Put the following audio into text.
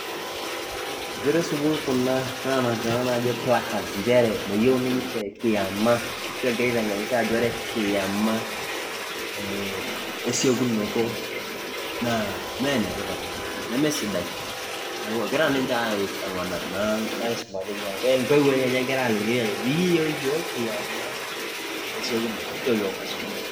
Inkera esukuul kuna nanapita ntokitin naji placards nchere meyieu ninche kiyama. ashu egira aitengenisho nchere ore kiyama ee esiokunoto naa mme ene tipat naa pi neme sidai. niaku ninche amanaa naa aisuma teina niaku intoiwuo enye egira aliki ajo mikiyieu iyiook kiyama esikunoto nchoo yiook maisumata!.